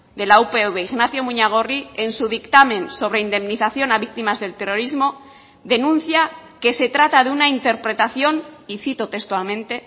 de la upv ignacio muñagorri en su dictamen sobre indemnización a víctimas del terrorismo denuncia que se trata de una interpretación y cito textualmente